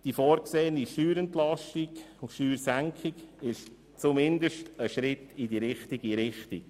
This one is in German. Die vorgesehene Steuerentlastung und Steuersenkung ist zumindest ein Schritt in die richtige Richtung.